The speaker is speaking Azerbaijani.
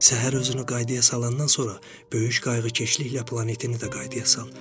Səhər özünü qaydaya salandan sonra böyük qayğıkeşliklə planetini də qaydaya sal.